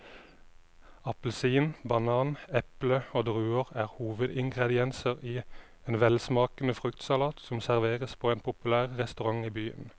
Appelsin, banan, eple og druer er hovedingredienser i en velsmakende fruktsalat som serveres på en populær restaurant i byen.